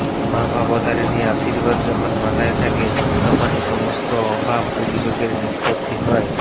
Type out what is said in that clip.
মা ভবতারিণী আশীর্বাদ যখন মাথায় থাকে তখনই সমস্ত অভাব অভিযোগের নিষ্পত্তি হয়